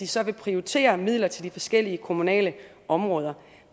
så vil prioritere midler til de forskellige kommunale områder